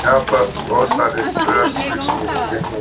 यहाँ पर बोहोत सारे रॉयल स्वीट्स मिलते है।